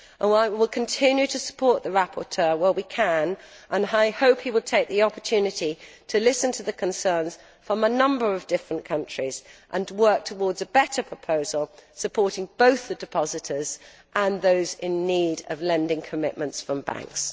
While we will continue to support the rapporteur where we can, I hope he will take the opportunity to listen to the concerns of a number of different countries and work towards a better proposal supporting both the depositors and those in need of lending commitments from banks.